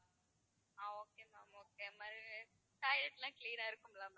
ஆஹ் okay ma'am okay அது மாதிரி toilet லாம் clean ஆ இருக்குமா ma'am